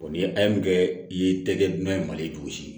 ni a ye mun kɛ i ye tɛgɛ nan ye mali gosi